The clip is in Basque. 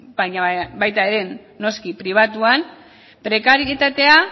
baina baita ere noski pribatuan prekarietatea